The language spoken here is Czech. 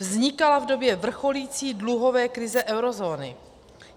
Vznikala v době vrcholící dluhové krize eurozóny.